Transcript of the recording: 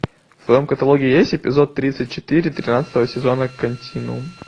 в твоем каталоге есть эпизод тридцать четыре тринадцатого сезона континуум